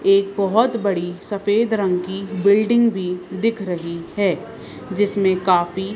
एक बहोत बड़ी सफेद रंग की बिल्डिंग़ भी दिख रही है जिसमें काफी--